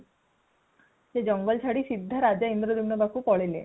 ସେ ଜଙ୍ଗଲ ଛାଡି ସିଧା ରାଜା ଇନ୍ଦ୍ରଦ୍ୟୁମ୍ନ ପାଖକୁ ପଳେଇଲେ |